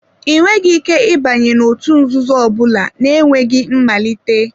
Ị nweghị ike ịbanye n'òtù nzuzo ọ bụla na-enweghị mmalite.